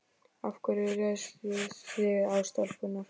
Af hverju réðust þið á stelpurnar